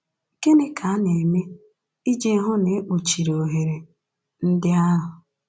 Gịnị ka a na-eme iji hụ na e kpuchiri ohere ndị ahụ?